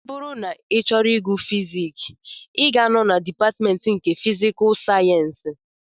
Ọ bụrụ na ị chọrọ ịgụ fiziks, ị ga-anọ na dịpatmentị nke fisikul sayensị